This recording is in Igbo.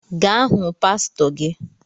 Ga hụ pasịtọ gi